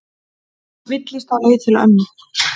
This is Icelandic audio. Villtist á leið til mömmu